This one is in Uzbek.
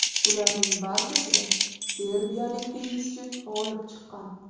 Ularning barchasida serbiyalik tennischi g‘olib chiqqan.